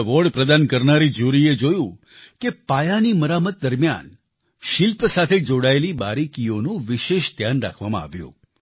award પ્રદાન કરનારી jury એ જોયું કે પાયાની મરામત દરમિયાન શિલ્પ સાથે જોડાયેલી બારીકીઓનું વિશેષ ધ્યાન રાખવામાં આવ્યું